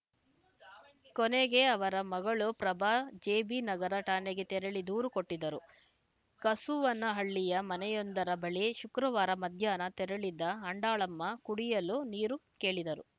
ಕೊನೆಗೆ ಅವರ ಮಗಳು ಪ್ರಭಾ ಜೆಬಿನಗರ ಠಾಣೆಗೆ ತೆರಳಿ ದೂರು ಕೊಟ್ಟಿದ್ದರು ಕಸುವನಹಳ್ಳಿಯ ಮನೆಯೊಂದರ ಬಳಿ ಶುಕ್ರವಾರ ಮಧ್ಯಾಹ್ನ ತೆರಳಿದ ಅಂಡಾಳಮ್ಮ ಕುಡಿಯಲು ನೀರು ಕೇಳಿದರು